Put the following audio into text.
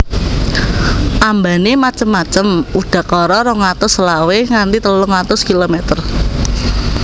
Ambane macem macem udakara rong atus selawe nganti telung atus kilometer